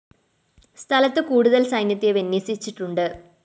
സ്ഥലത്ത് കൂടുതല്‍ സൈന്യത്തെ വിന്യസിച്ചിട്ടുണ്ട്